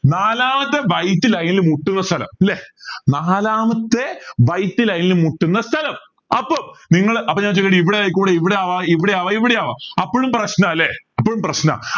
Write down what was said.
നാലാമത്തെ white line ൽ മുട്ടുന്ന സ്ഥലം അല്ലേ നാലാമത്തെ white line ൽ മുട്ടുന്ന സ്ഥലം അപ്പോ നിങ്ങളെ അപ്പൊ ഞാൻ ചോദിക്കട്ടെ ഇവിടെ ആയിക്കൂടെ ഇവിടെ ആവാം ഇവിടെയാവാം ഇവിടെയും ആവാം അപ്പോഴും പ്രശ്ന ല്ലേ അപ്പോഴും പ്രശ്ന